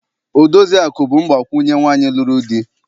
Odoziakụ bụ mgbakwunye nwaanyị lụrụ di.